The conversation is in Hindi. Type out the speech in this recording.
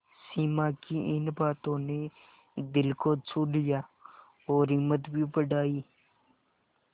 सिमा की इन बातों ने दिल को छू लिया और हिम्मत भी बढ़ाई